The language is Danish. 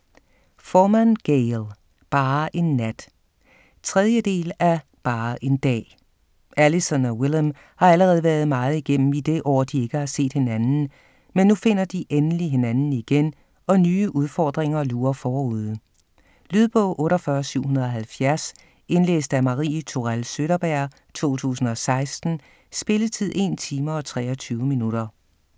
Forman, Gayle: Bare en nat 3. del af Bare en dag. Allyson og Willem har allerede været meget igennem i det år de ikke har set hinanden, men nu finder de endelig hinanden igen og nye udfordringer lurer forude. Lydbog 48770 Indlæst af Marie Tourell Søderberg, 2016. Spilletid: 1 time, 23 minutter.